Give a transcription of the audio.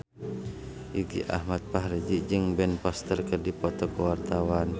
Irgi Ahmad Fahrezi jeung Ben Foster keur dipoto ku wartawan